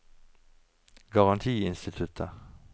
garantiinstituttet